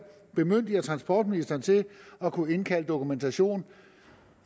bemyndiger transportministeren til at kunne indkalde dokumentation